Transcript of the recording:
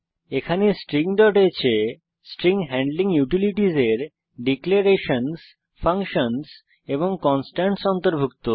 এখানে stringহ্ এ স্ট্রিং হ্যান্ডলিং ইউটিলিটিস এর ডিক্লেরেশনসহ ফাংশনস কনস্টেন্টস অন্তর্ভুক্ত